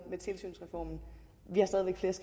med tilsynsreformen